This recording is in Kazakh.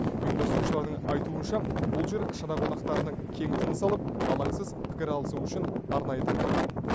ұйымдастырушылардың айтуынша бұл жер шара қонақтарының кең тыныс алып алаңсыз пікір алысу үшін арнайы таңдалған